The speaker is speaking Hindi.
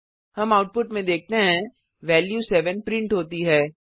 हम आउटपुट में देखते हैं वैल्यू 7 प्रिंट होती है